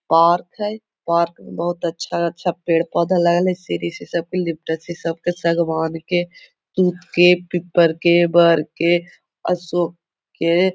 park हय park में बहुत अच्छा-अच्छा पेड़-पौधा लग हइ सीढ़ी से सबको लिपटे हइ सब के सगवान के तुत के पीपड़ के बर के अशोक के --